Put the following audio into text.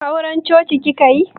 Auran coci kika yi?